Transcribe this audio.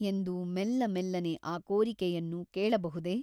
ಎಂದು ಮೆಲ್ಲಮೆಲ್ಲನೆ ಆ ಕೋರಿಕೆಯನ್ನು ಕೇಳಬಹುದೆ?